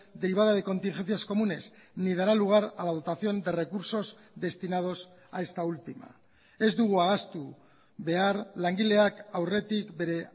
derivada de contingencias comunes ni dará lugar a la dotación de recursos destinados a esta última ez dugu ahaztu behar langileak aurretik bere